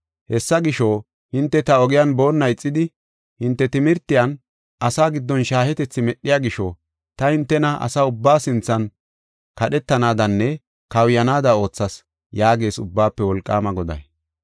Hessa gisho, hinte ta ogiyan boonna ixidi, hinte timirtiyan asaa giddon shaahetethi medhiya gisho, ta hintena asa ubbaa sinthan kadhetanaadanne kawuyanaada oothas” yaagees Ubbaafe Wolqaama Goday.